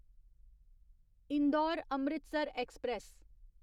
Indore Amritsar express